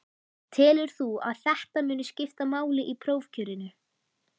Telur þú að þetta muni skipta máli í prófkjörinu?